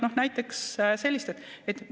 Nii et sellised näited.